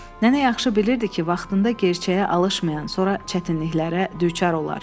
Nənə yaxşı bilirdi ki, vaxtında gerçəyə alışmayan sonra çətinliklərə düçar olar.